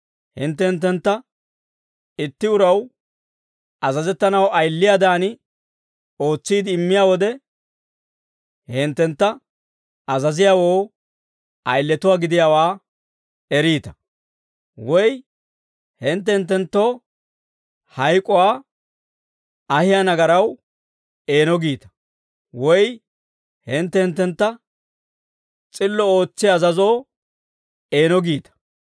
hintte hinttentta itti uraw azazettanaw, ayiliyaadan ootsiide immiyaa wode, he hinttentta azaziyaawoo ayiletuwaa gidiyaawaa eriita; woy hintte hinttenttoo hayk'uwaa ahiyaa nagaraw eeno giita; woy hintte hinttentta s'illo ootsiyaa azazoo eeno giita.